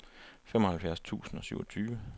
femoghalvfjerds tusind og syvogtyve